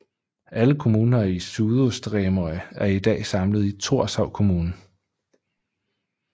Alle kommuner i Suðurstreymoy er i dag samlet i Thorshavn Kommune